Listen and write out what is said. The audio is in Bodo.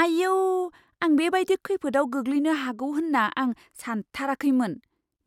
आइऔ! आं बेबादि खैफोदाव गोग्लैनो हागौ होन्ना आं सानथाराखैमोन।